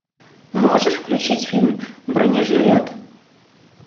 можешь включить фильм бронежилет